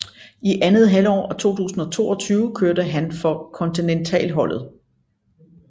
I andet halvår af 2022 kørte han for kontinentalholdet